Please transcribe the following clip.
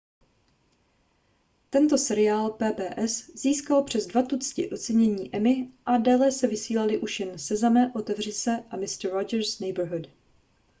tento seriál pbs získal přes dva tucty ocenění emmy a déle se vysílaly už jen sezame otevři se a mister rogers' neighborhood